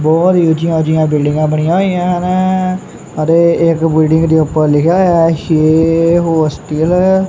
ਬਹੁਤ ਹੀ ਉੱਚੀਆਂ ਉੱਚੀਆਂ ਬਿਲਡਿੰਗਾਂ ਬਣੀਆਂ ਹੋਈਆਂ ਹਨ ਅਤੇ ਇੱਕ ਬਿਲਡਿੰਗ ਦੇ ਉੱਪਰ ਲਿਖਿਆ ਹੋਇਆ ਛੇ ਹੋਸਟਲ ।